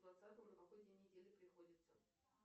двадцатое на какой день недели приходится